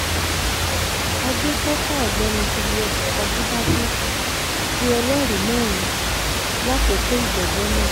agbéfọ́fá ọ̀gbẹ́ni julius ajíbàdẹ̀ um pe ẹlẹ́rìí mẹ́rin lákòókò ìgbẹ́jọ́ náà